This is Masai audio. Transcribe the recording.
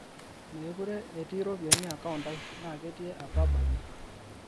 mekure etii ropiyani account aai naa ketii apa abayaie